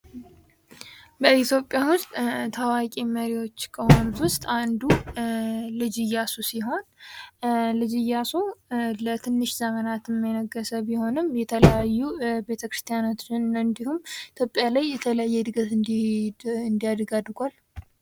በኢትዮጵያ ውስጥ ታዋቂ መሪዎች ከሆኑት ውስጥ አንዱ ልጅ እያሱ ሲሆን ልጅ እያሱ ለትንሽ ዘመናትን የነገሠ ቢሆን የተለያዩ ቤተክርስቲያናቶችን እንዲሁም ኢትዮጵያ ላይ የተለየ እድገት እንዲያድግ አድርጓል ::